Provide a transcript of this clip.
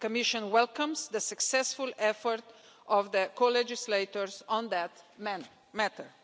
The Commission welcomes the successful effort of the co legislators on that matter.